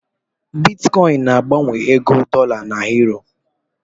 Bitkọịn na-agbanwe ego dọla na yuro.